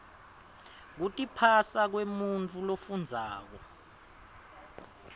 kutiphasa kwemuntfu lofundzako